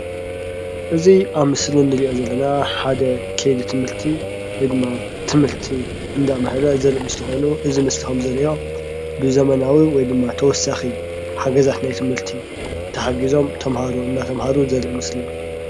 እዚ ኣብ ምስሊ ንሪኦ ዘለና ሓደ ከይዲ ትምህርቲ ወይ ድማ ትምህርቲ እንዳምሃረ ዘርኢ ምስሊ ኾይኑ እዚ ምስሊ ከምንሪኦ ብዘበናዊ ወይ ድማ ተወሳኺ ሓገዛት ናይ ትምህርቲ ተሓጊዞም ተምሃሮ እናተማሃሩ ዘርኢ ምስሊ እዩ፡፡